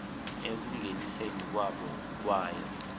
ekungeniseni kwabo kwayo